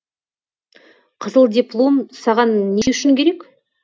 қызыл диплом саған не үшін керек